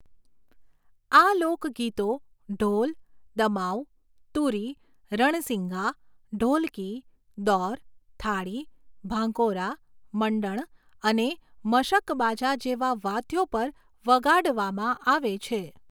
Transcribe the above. આ લોકગીતો ઢોલ, દમાઉ, તુરી, રણસિંઘા, ઢોલકી, દૌર, થાળી, ભાંકોરા, મંડણ અને મશકબાજા જેવાં વાદ્યો પર વગાડવામાં આવે છે.